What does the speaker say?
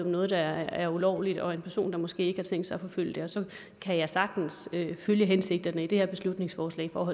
noget der er ulovligt og en person der måske ikke har tænkt sig at forfølge det og så kan jeg sagtens følge hensigterne i det her beslutningsforslag om